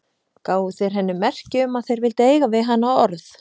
Gáfu þeir henni merki um að þeir vildu eiga við hana orð.